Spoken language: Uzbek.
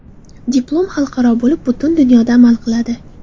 Diplom xalqaro bo‘lib, butun dunyoda amal qiladi!